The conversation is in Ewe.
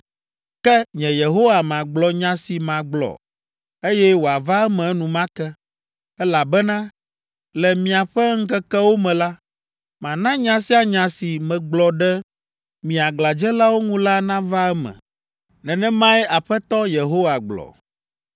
Ke nye Yehowa magblɔ nya si magblɔ, eye wòava eme enumake. Elabena le miaƒe ŋkekewo me la, mana nya sia nya si megblɔ ɖe mi aglãdzelawo ŋu la nava eme; nenemae Aƒetɔ Yehowa gblɔ.’ ”